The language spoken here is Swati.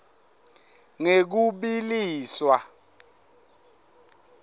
ngekubiliswa